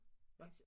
Hva